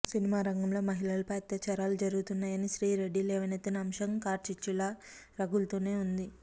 సినిమారంగంలో మహిళలపై అత్యాచారాలు జరుగుతున్నాయని శ్రీరెడ్డి లేవనెత్తిన అంశం కార్చిచ్చు లా రగులుతూనే ఉంది